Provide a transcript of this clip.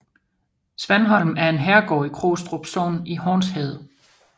Svanholm er en herregård i Krogstrup Sogn i Hornsherred